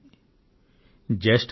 రెచ్చగొట్టే జ్యేష్ఠమాసం